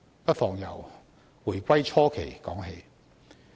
不妨由回歸初期說起。